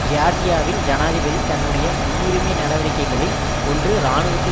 ஜியார்ஜியாவின் ஜனாதிபதி தன்னுடைய முன்னுரிமை நடவடிக்கைகளில் ஒன்று இராணுவத்தை